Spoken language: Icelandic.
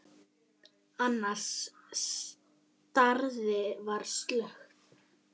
Í snekkju hérna úti fyrir!